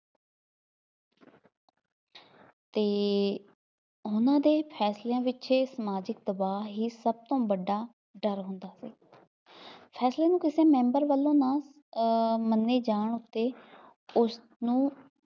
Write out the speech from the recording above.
ਅਤੇ ਉਹਨਾ ਦੇ ਫੈਸਲਿਆਂ ਦੇ ਪਿੱਛੇ ਸਮਾਜਿਕ ਦਬਾਅ ਹੀ ਸਭ ਤੋਂ ਵੱਡਾ ਡਰ ਹੁੰਦਾ ਫੇਰ, ਫੈਸਲੇ ਨੂੰ ਕਿਸੇ ਮੈਂਬਰ ਵੱਲੋ ਨਾ ਅਹ ਮੰਨੇ ਜਾਣ ਉੱਤੇ ਉਸਨੂੰ